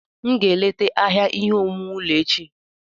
Aga m eleta ahịa ihe owuwu ulọ echi.